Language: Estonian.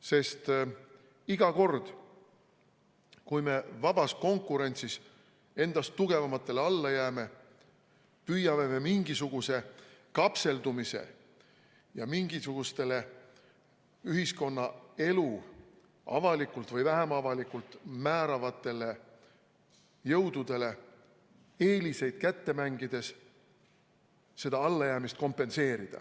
Sest iga kord, kui me vabas konkurentsis endast tugevamatele alla jääme, püüame me mingisuguse kapseldumise ja mingisugustele ühiskonnaelu avalikult või vähem avalikult määravatele jõududele eeliseid kätte mängides seda allajäämist kompenseerida.